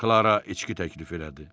Klara içki təklif elədi.